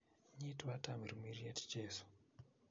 'Nyiitwa Tamirmiriet, Jesu,